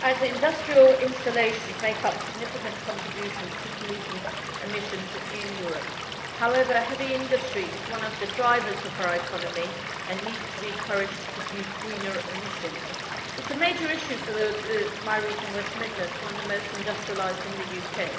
Industrial installations make a significant contribution to pollutant emissions in Europe, but heavy industry is one of the drivers of our economy and needs to be encouraged to produce greener emissions. This is a major issue for my region of the West Midlands, which is one of the most industrialised in the UK.